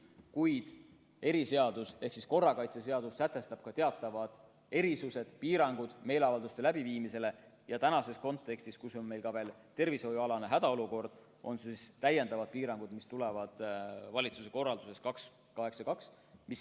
Kuid eriseadus ehk korrakaitseseadus sätestab teatavad erisused, piirangud meeleavalduste läbiviimisele, ja praeguses kontekstis, kus meil on veel ka tervishoiualane hädaolukord, kehtivad täiendavad piirangud, mis tulevad valitsuse korraldusest 282.